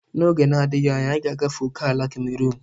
N'oge na-adịghị anya, anyị ga-agafe ókèala Cameruun.